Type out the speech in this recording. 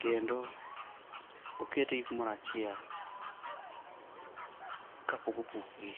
kendo oketgi kumoro achiel kapok opukgi